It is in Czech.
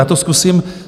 Já to zkusím...